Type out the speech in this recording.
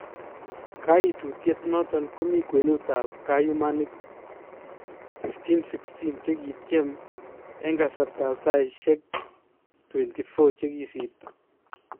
Kaytutiet noton komi kwenutab kayumanik 1,516 chekikityem en kasartab sayisyeek 24 chekisirto